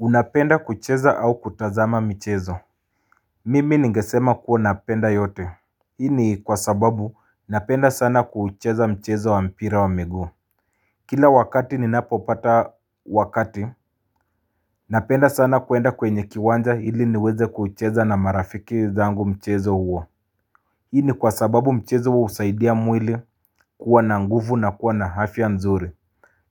Unapenda kucheza au kutazama michezo Mimi ningesema kuwa napenda yote hii ni kwa sababu napenda sana kucheza mchezo wa mpira wa miguu Kila wakati ninapo pata wakati Napenda sana kuenda kwenye kiwanja ili niweze kucheza na marafiki zangu mchezo huo hii ni kwa sababu mchezo huwa usaidia mwili kuwa na nguvu na kuwa na afya nzuri